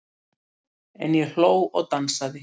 En ég hló og dansaði.